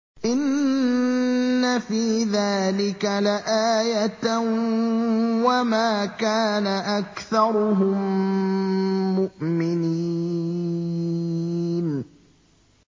إِنَّ فِي ذَٰلِكَ لَآيَةً ۖ وَمَا كَانَ أَكْثَرُهُم مُّؤْمِنِينَ